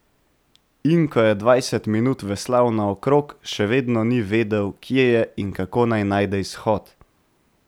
In ko je dvajset minut veslal naokrog, še vedno ni vedel, kje je in kako naj najde izhod.